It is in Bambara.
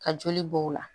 Ka joli bɔ o la